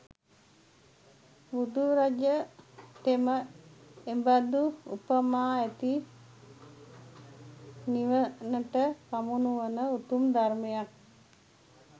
බුදුරජ තෙම එබඳු උපමා ඇති නිවනට පමුණුවන උතුම් ධර්මයක්